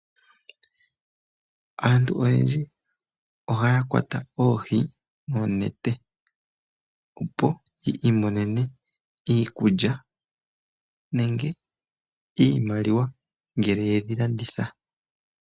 Aantu oyendji ohaya kwata oohi noonete, opo yi imonene iikulya, nenge iimaliwa ngele yedhi landitha.